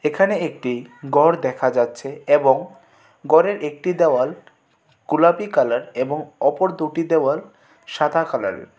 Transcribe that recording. এখানে একটি গড় দেখা যাচ্ছে এবং গরের একটি দেওয়াল গোলাপী কালার এবং অপর দুটি দেওয়াল সাদা কালারের.